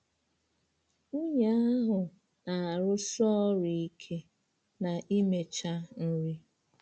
Nwunye ahụ na-arụsi ọrụ ike na imecha nri.